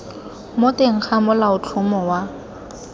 mo teng ga molaotlhomo wa